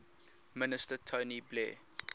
minister tony blair